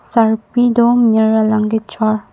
sarpi do mir alang kechor.